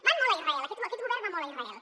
van molt a israel aquest govern va molt a israel